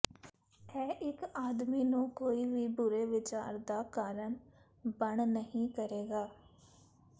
ਇਹ ਇੱਕ ਆਦਮੀ ਨੂੰ ਕੋਈ ਵੀ ਬੁਰੇ ਵਿਚਾਰ ਦਾ ਕਾਰਨ ਬਣ ਨਹੀ ਕਰੇਗਾ